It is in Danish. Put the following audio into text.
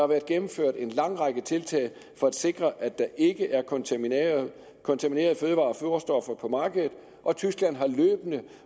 været gennemført en lang række tiltag for at sikre at der ikke er kontaminerede kontaminerede fødevarer og foderstoffer på markedet og tyskland har løbende